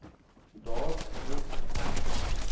daar moet egter